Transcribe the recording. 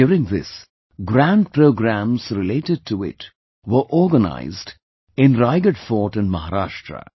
During this, grand programs related to it were organized in Raigad Fort in Maharashtra